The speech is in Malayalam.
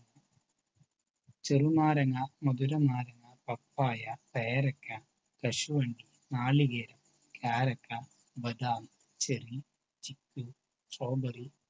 ചെറുനാരങ്ങ, മധുരനാരങ്ങ, പപ്പായ, പേരക്ക, കശുവണ്ടി, നാളികേരം, കാരക്ക, ബദാം, ചെറി, ചിക്കൂ Strawberry തുടങ്ങിയവ